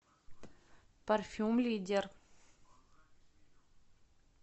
парфюм лидер